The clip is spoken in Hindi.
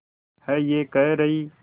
है ये कह रही